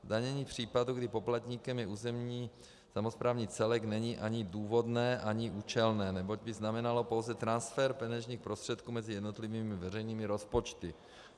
Zdanění případu, kdy poplatníkem je územní samosprávný celek, není ani důvodné ani účelné, neboť by znamenalo pouze transfer peněžních prostředků mezi jednotlivými veřejnými rozpočty.